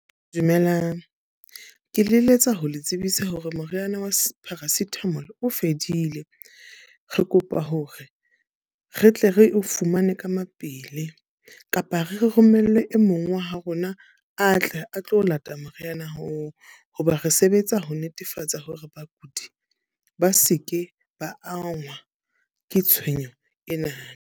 Dumelang. Ke le eletsa ho le tsebisa hore moriana wa Paracetamol o fedile. Re kopa hore re tle re o fumane ka mapele kapa re romelle e mong wa ho rona a tle a tlo lata moriana oo. Hoba re sebetsa ho netefatsa hore bakudi ba seke ba angwa ke tshwenyeho ena.